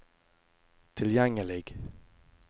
tilgjengelig